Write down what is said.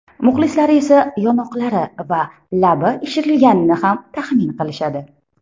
Muxlislari esa yonoqlari va labi ishirilganini ham taxmin qilishadi.